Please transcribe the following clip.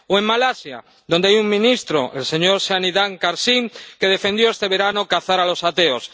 o en Malasia, donde hay un ministro, el señor Shahidan Kassim, que defendió este verano cazar a los ateos.